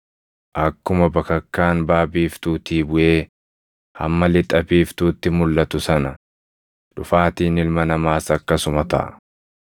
Akkuma bakakkaan baʼa biiftuutii buʼee hamma lixa biiftuutti mulʼatu sana dhufaatiin Ilma Namaas akkasuma taʼa.